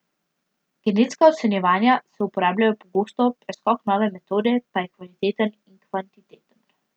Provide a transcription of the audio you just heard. Genetska ocenjevanja se uporabljajo pogosto, preskok nove metode pa je kvaliteten in kvantiteten.